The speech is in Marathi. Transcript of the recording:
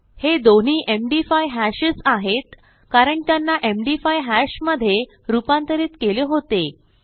हे दोन्ही एमडी5 हॅशेस आहेत कारण त्यांना एमडी5 हॅश मधे रूपांतरित केले होते